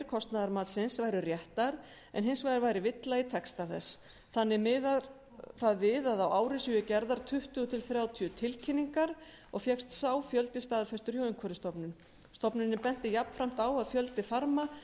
kostnaðarmatsins væru réttar en hins vegar væri villa í texta þess þannig miðar það við að á ári séu gerðar tuttugu til þrjátíu tilkynningar og fékkst sá fjöldi staðfestur hjá umhverfisstofnun stofnunin benti jafnframt á að fjöldi farma